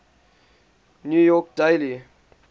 new york daily